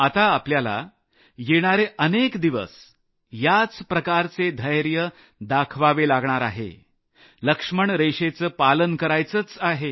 आता आपल्याला येणारे अनेक दिवस याच प्रकारचे धैर्य दाखवावंच लागणार आहे लक्ष्मणरेषेचं पालन करायचंच आहे